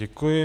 Děkuji.